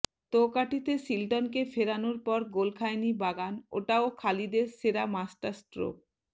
তোকাঠিতে শিল্টনকে ফেরানোর পর গোল খায়নি বাগান ওটাও খালিদের সেরা মাস্টারস্ট্রোক